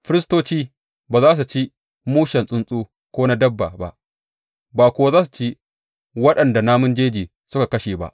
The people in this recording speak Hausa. Firistoci ba za su ci mushen tsuntsu ko na dabba ba, ba kuwa za su ci waɗanda namun jeji suka kashe ba.